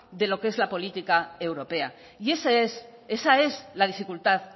de lo que es la política europea y esa es la dificultad